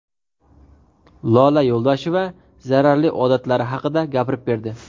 Lola Yo‘ldosheva zararli odatlari haqida gapirib berdi.